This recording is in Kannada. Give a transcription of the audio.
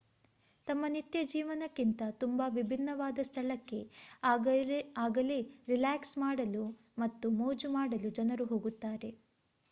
ತಮ್ಮ ನಿತ್ಯ ಜೀವನಕ್ಕಿಂತ ತುಂಬಾ ವಿಭಿನ್ನವಾದ ಸ್ಥಳಕ್ಕೆ ಆಗಲೇ ರಿಲ್ಯಾಕ್ಸ್ ಮಾಡಲು ಮತ್ತು ಮೋಜು ಮಾಡಲು ಜನರು ಹೋಗುತ್ತಾರೆ